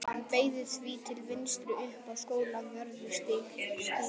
Hann beygði því til vinstri upp Skólavörðustíg.